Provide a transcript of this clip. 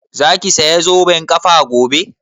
Za ki saya zoben ƙafa gobe?